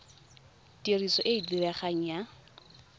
tiriso e e diregang ya